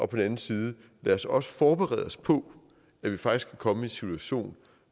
den anden side lad os også forberede os på at vi faktisk kan komme i en situation